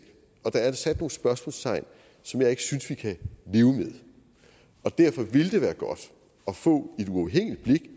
og der er sat nogle spørgsmålstegn som jeg ikke synes vi kan leve med og derfor ville det være godt at få